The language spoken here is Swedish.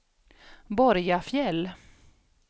Borgafjäll